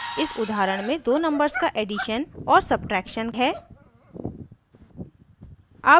इस उदाहरण में दो numbers का एडिशन और सब्ट्रैक्शन है